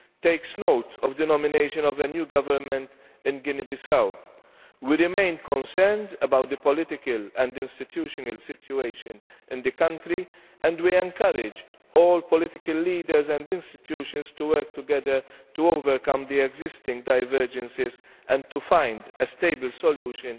takes note of the nomination of a new government in that country. We remain concerned about the political and institutional situation there and we encourage all political leaders and institutions to work together to overcome the existing divergences and to find a stable solution